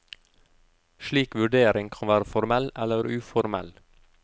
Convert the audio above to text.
Slik vurdering kan være formell eller uformell.